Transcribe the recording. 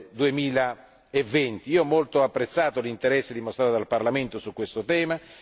2020. Ho molto apprezzato l'interesse dimostrato dal Parlamento su questo tema.